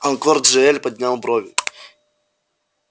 анкор джаэль поднял брови